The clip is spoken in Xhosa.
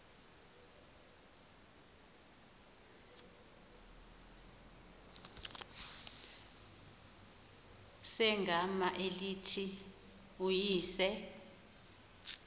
segama elithi uyise